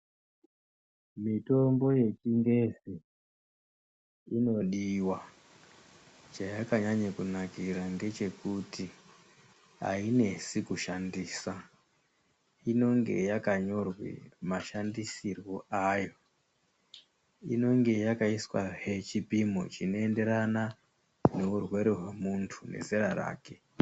Mitombo yechingezi inodiwa, chayakanyanye kunakira ngechekuti ainesi kushandisa, inonge yakanyorwe mashandisirwe ayo. Inonge yakaiswahe chipimo chinoenderana nehurwere hwemuntu nezera rake.